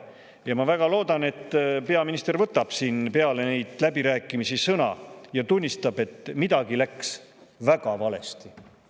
Ja ma väga loodan, et peaminister võtab siin peale neid läbirääkimisi sõna ja tunnistab, et midagi läks väga valesti.